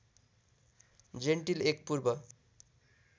gentle एक पूर्व